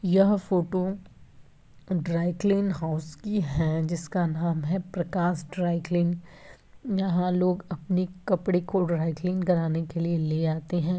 यह photo dry clean house की है जिसका नाम है प्रकाश ड्राईक्लीन यहाँ लोग अपने कपड़े को ड्राई क्लीन कराने के लिए ले आते हैं।